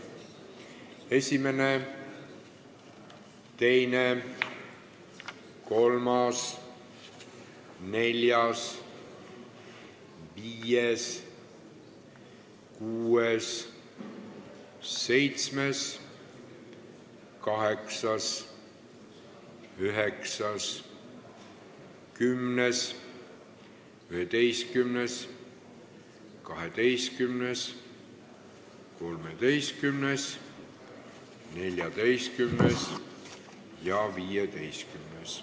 Esimene, teine, kolmas, neljas, viies, kuues, seitsmes, kaheksas, üheksas, kümnes, 11., 12., 13., 14. ja 15.